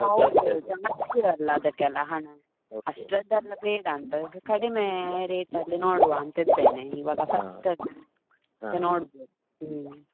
ಹೌದು ಜಾಸ್ತಿ ಅಲ್ಲ ಅದಕ್ಕೆಲ್ಲ ಹಣ ಅಷ್ಟ್ರದ್ದೆಲ್ಲ ಬೇಡ ಅಂತ ಕಡಿಮೆ rate ಅಲ್ಲಿ ನೋಡುವ ಅಂತ ಇದ್ದೇನೆ ಇವಾಗ first ನೋಡ್ಬೇಕು ಹ್ಮ್.